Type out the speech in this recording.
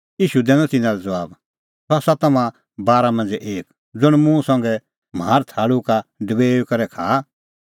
ईशू दैनअ तिन्नां लै ज़बाब सह आसा तम्हां बारा मांझ़ै एक ज़ुंण मुंह संघै म्हार थाल़ू का डबेऊई करै खाआ